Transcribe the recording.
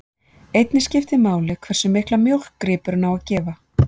Einnig skiptir máli hversu mikla mjólk gripurinn á að gefa.